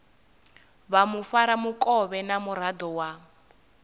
vha mufaramukovhe na muraḓo wa